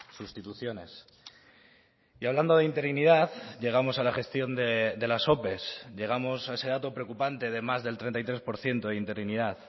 sustituciones y hablando de interinidad llegamos a la gestión de las ope llegamos a ese dato preocupante de más del treinta y tres por ciento de interinidad